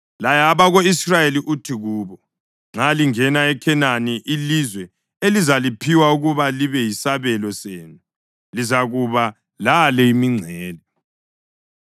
“Laya abako-Israyeli uthi kubo: ‘Nxa lingena eKhenani, ilizwe elizaliphiwa ukuba libe yisabelo senu lizakuba lale imingcele: